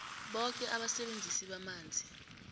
boke abasebenzisi bamanzi